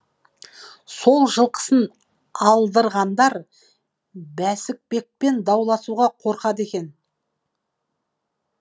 сол жылқысын алдырғандар бәсікбекпен дауласуға қорқады екен